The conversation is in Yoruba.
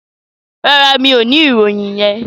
No, I don't have that information.